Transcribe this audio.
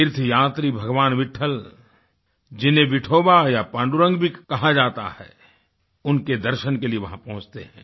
तीर्थ यात्री भगवान विट्ठल जिन्हें विठोवा या पांडुरंग भी कहा जाता है उनके दर्शन के लिए वहाँ पहुँचते हैं